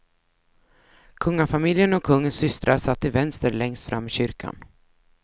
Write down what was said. Kungafamiljen och kungens systrar satt till vänster längst fram i kyrkan.